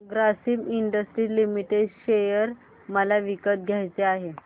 Grasim industries limited share मला विकत घ्यायचे आहेत